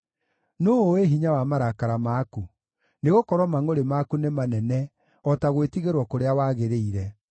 Nũũ ũũĩ hinya wa marakara maku? Nĩgũkorwo mangʼũrĩ maku nĩ manene o ta gwĩtigĩrwo kũrĩa wagĩrĩire.